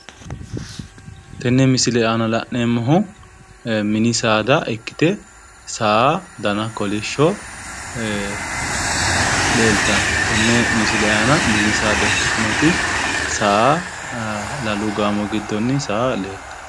Tenne misile aana la'neemohu mini saada ikkite saa dana kolishsho leeltanno tenne misile aana mini saada ikkitinoti saa lalu gaamo gidonni saa leeltanno